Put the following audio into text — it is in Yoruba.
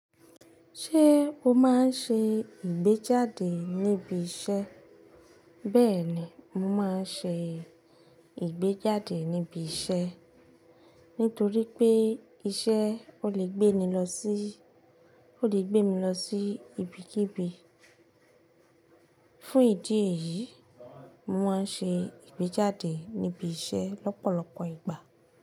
Ṣé o máa ń ṣe ìgbéjáde níbi iṣẹ́? Bẹ́ẹ̀ni, mo máa ń ṣe ìgbéjáde níbi iṣẹ́. Nítorí pé iṣẹ́ ò lè gbé mi lọ sí ibikíbi. Fún ìdí èyí, mo máa ń ṣe ìgbéjáde níbi iṣẹ́ lọ́pọ̀lọpọ̀ ìgbà.